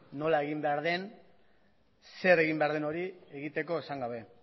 nola egin behar den zer egin behar den hori egiteko esan gabe